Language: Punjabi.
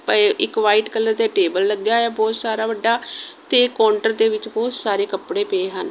ਪਏ ਇੱਕ ਵ੍ਹਾਈਟ ਕਲਰ ਦਾ ਟੇਬਲ ਲੱਗਿਆ ਹੈ ਬਹੁਤ ਸਾਰਾ ਵੱਡਾ ਤੇ ਕਾਉੰਟਰ ਦੇ ਵਿਚ ਬਹੁਤ ਸਾਰੇ ਕੱਪੜੇ ਪਏ ਹਨ।